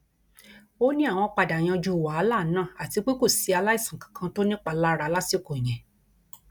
ó ní àwọn padà yanjú wàhálà náà àti pé kò sí aláìsàn kankan tó nípalára lásìkò yẹn